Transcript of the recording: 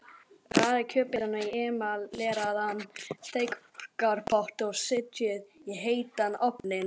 Raðið kjötbitunum í emaleraðan steikarpott og setjið í heitan ofninn.